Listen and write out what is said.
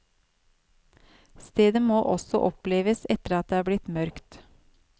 Stedet må også oppleves etter at det er blitt mørkt.